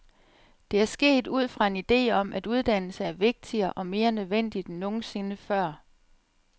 Det er sket ud fra en ide om, at uddannelse er vigtigere og mere nødvendigt end nogensinde før.